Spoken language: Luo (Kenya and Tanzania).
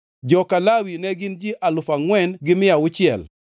joka Lawi ne gin ji alufu angʼwen gi mia auchiel (4,600),